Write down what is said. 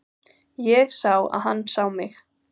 Ég sá að hann sá mig.